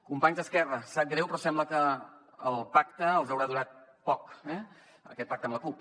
companys d’esquerra sap greu però sembla que el pacte els haurà durat poc eh aquest pacte amb la cup